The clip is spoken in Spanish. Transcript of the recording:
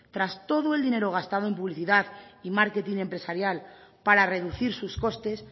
tras todo el dinero gastado en publicidad y marketing empresarial para reducir sus costes